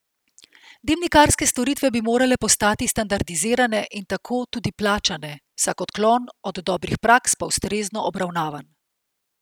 Dimnikarske storitve bi morale postati standardizirane in tako tudi plačane, vsak odklon od dobrih praks pa ustrezno obravnavan.